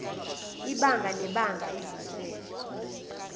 ibanga nebanga izinhlelo